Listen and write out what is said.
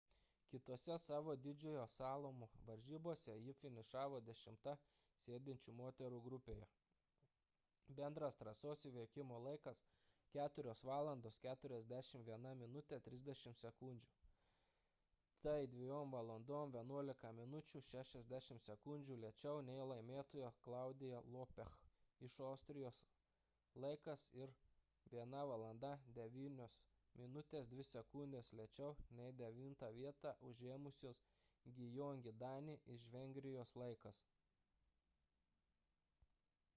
kitose savo didžiojo slalomo varžybose ji finišavo dešimta sėdinčių moterų grupėje – bendras trasos įveikimo laikas 4:41.30. tai 2:11.60 min. lėčiau nei laimėtojos claudia loesch iš austrijos laikas ir 1:09.02 min. lėčiau nei devintą vietą užėmusios gyöngyi dani iš vengrijos laikas